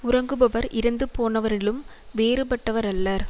உறங்குபவர் இறந்துபோனவரிலும் வேறுபட்டவர் அல்லர்